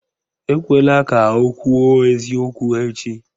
Ekwela ka o kwuo eziokwu echi!